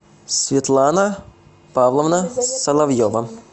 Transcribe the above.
светлана павловна соловьева